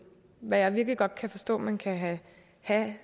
hvad jeg virkelig godt kan forstå man kan have